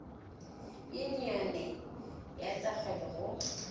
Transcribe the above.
yunione ya tsa kgwebo go